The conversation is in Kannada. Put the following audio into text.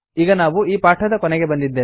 ಈಗ ನಾವು ಈ ಪಾಠದ ಕೊನೆಗೆ ಬಂದಿದ್ದೇವೆ